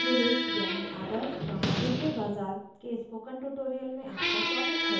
model village यानि आदर्श गाँव : hiware bazar के spoken tutorial में आपका स्वागत है